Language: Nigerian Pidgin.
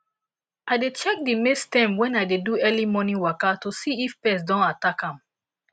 i dey check di maize stem wen i dey do early morning waka to see if pest don attack am